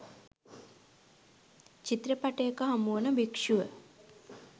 චිත්‍රපටයක හමුවන භික්‍ෂුව